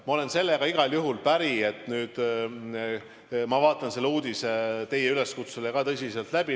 Ma olen sellega igal juhul päri, et vaadata see uudis teie üleskutsel tõsiselt läbi.